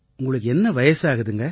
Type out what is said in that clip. உங்களுக்கு என்ன வயசாகுதுங்க